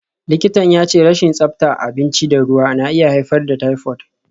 Likitan ya ce rashin tsabta abinci da ruwa na iya haifar da typhoid.